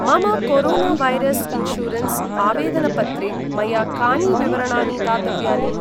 मम corona virus insurance आवेदनपत्रे मया कानि विवरणानि दातव्यानि?